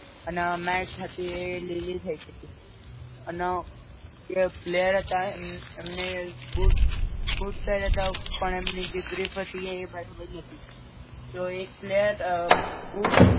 અન mat હતી એ લીલી થઈ ગઈ હતી, અન જે player હતા એમ એમને બૂટ બૂટ પેરીયાતા પણ એમની જે ગ્રીપ હતી એ બરાબર નતી, તો એક player બૂટ